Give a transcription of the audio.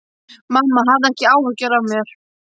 Mamma, hafðu ekki áhyggjur af mér.